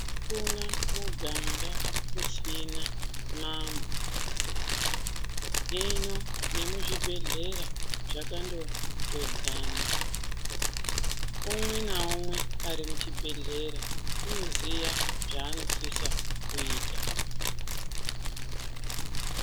Akuna miganga usina mano, hino nemuzvibhedhlera zvakandotodzana. Umwe naumwe ari muchibhedhlera unoziya zvaanosisa kuita.